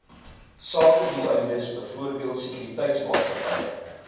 sakedoeleindes byvoorbeeld sekuriteitsmaatskappye